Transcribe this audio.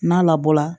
N'a labɔra